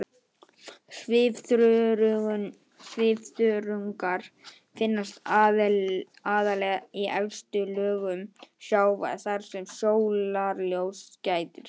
Svifþörungar finnast aðallega í efstu lögum sjávar þar sem sólarljóss gætir.